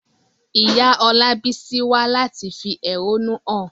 Ìyá Olabisi wá láti fi ẹ̀hónú hàn.